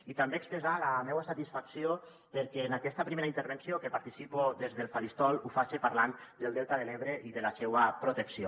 i també expressar la meua satisfacció perquè en aquesta primera intervenció que participo des del faristol ho faça parlant del delta de l’ebre i de la seua protecció